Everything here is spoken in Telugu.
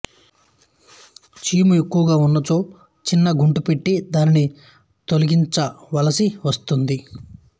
చీము ఎక్కువగా ఉన్నచో చిన్న గంటు పెట్టి దాన్ని తొలగించవలసి వస్తుంది